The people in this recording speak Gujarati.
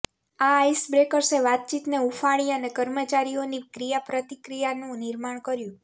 આ આઇસબ્રેકર્સે વાતચીતને હૂંફાળી અને કર્મચારીઓની ક્રિયાપ્રતિક્રિયાનું નિર્માણ કર્યું